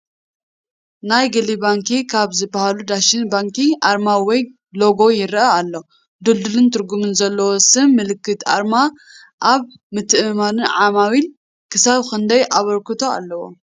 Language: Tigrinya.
ናይ ግሊ ባንኪ ካብ ዝባሃሉ ዳሸን ባንኪ ኣርማ ወይ ሎጎ ይረአ ኣሎ። ድልዱልን ትርጉም ዘለዎን ስም ምልክትን ኣርማን ኣብ ምትእምማን ዓማዊል ክሳብ ክንደይ ኣበርክቶ ኣለዎ?